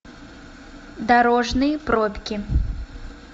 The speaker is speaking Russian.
дорожные пробки